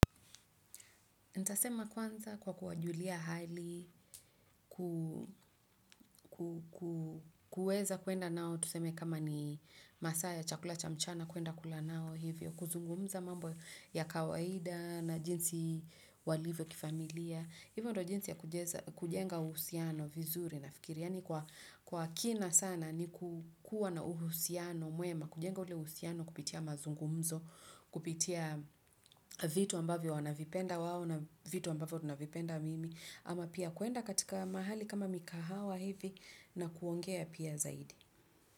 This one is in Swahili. Ntasema kwanza kwa kuwajulia hali, kuwezw kwenda nao tuseme kama ni masaa ya chakula cha mchana kuenda kula nao hivyo kuzungumza mambo ya kawaida na jinsi walivyo kifamilia hivyo ndo jinsi ya kujenga uhusiano vizuri. Yaani kwa kina sana ni kukuwa na uhusiano, muema, kujenga ule uhusiano kupitia mazungumzo, kupitia vitu ambavyo wanavipenda wao na vitu ambavyo tunavipenda mimi, ama pia kuenda katika mahali kama mikahawa hivi na kuongea pia zaidi.